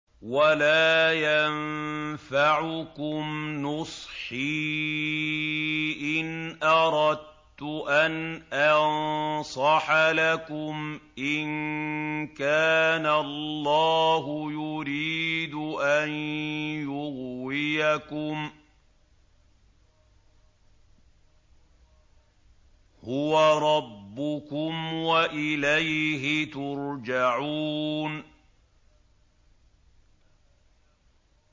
وَلَا يَنفَعُكُمْ نُصْحِي إِنْ أَرَدتُّ أَنْ أَنصَحَ لَكُمْ إِن كَانَ اللَّهُ يُرِيدُ أَن يُغْوِيَكُمْ ۚ هُوَ رَبُّكُمْ وَإِلَيْهِ تُرْجَعُونَ